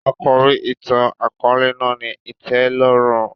Àkòrí ìtàn-àkóòlè náà ni ìtẹ́lórùn